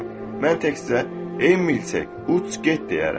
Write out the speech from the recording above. Mən təkcə ey milçək, uç get deyərəm.